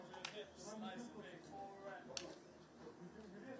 Sən sən özünü bu oyunlarda heç kimdə yoxdur bu oyunlarda.